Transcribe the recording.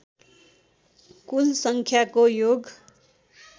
कुल सङ्ख्याको योग